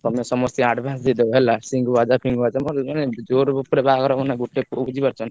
ତମେ ସମସ୍ତଙ୍କୁ advance ଦେଇଡବ ହେଲା ସିଂ ବାଜା ଫିଙ୍ଗ ବାଜା ବୁଝିପାରୁଛ ନାଁ।